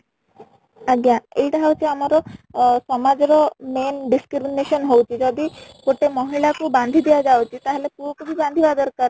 ଆଜ୍ଞା , ଏଇଟା ହଉଛି ଆମର ଅଂ ସମାଜ ର main discrimination ହଉଛି , ଯଦି ଗୋଟେ ମହିଳା କୁ ବାନ୍ଧି ଦିଆ ଯାଉଛି ତାହେଲେ ପୁଅ କୁ ବି ବାନ୍ଧିବା ଦରକାର